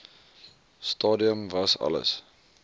stadium was alles